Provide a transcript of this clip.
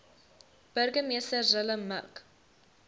burgemeester zille mik